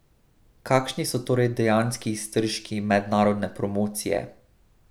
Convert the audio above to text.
Kakšni so torej dejanski iztržki mednarodne promocije?